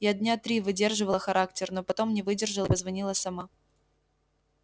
я дня три выдерживала характер но потом не выдержала и позвонила сама